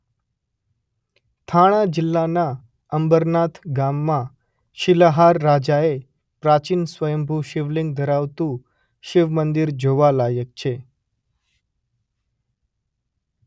થાણા જિલ્લાના અંબરનાથ ગામમાં શિલાહાર રાજાએ પ્રાચીન સ્વંયભૂ શિવલિંગ ધરાવતું શિવ મંદિર જોવાલાયક છે.